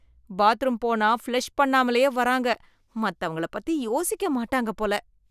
Bathroom போனா flush பண்ணாமலையே வராங்க, மத்தவங்கள பத்தி யோசிக்க மாட்டாங்க போல.